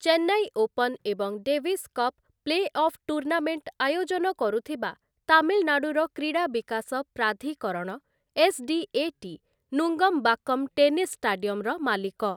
Chennai Open ଏବଂ Davis Cup playoff tournament ଆୟୋଜନ କରୁଥିବା ତାମିଲନାଡୁର କ୍ରୀଡ଼ା ବିକାଶ ପ୍ରାଧିକରଣ ଏସ୍‌ଡିଏଟି ନୁଙ୍ଗମ୍ବାକ୍କମ୍ ଟେନିସ୍ ଷ୍ଟାଡିୟମ୍‌ର ମାଲିକ ।